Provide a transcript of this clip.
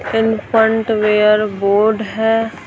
Infant wear board है।